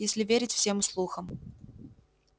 если верить всем слухам